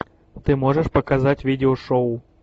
ты можешь показать видеошоу